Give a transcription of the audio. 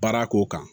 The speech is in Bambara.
Baara ko kan